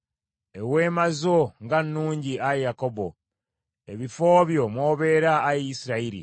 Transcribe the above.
“Eweema zo nga nnungi, Ayi Yakobo, ebifo byo mw’obeera, Ayi Isirayiri!